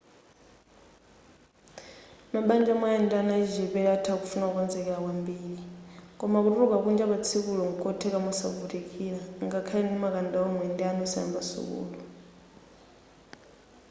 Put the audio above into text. mabanja omwe ali ndi ana achichepere atha kufuna kukonzekera kwambiri koma kutuluka kunja patsikulo nkotheka mosavutikira ngakhale ndi makanda omwe ndi ana osayamba sukulu